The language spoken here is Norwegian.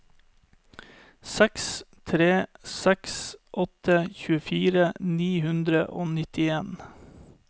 seks tre seks åtte tjuefire ni hundre og nittien